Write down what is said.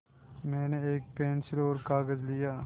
मैंने एक पेन्सिल और कागज़ लिया